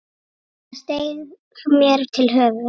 Það steig mér til höfuðs.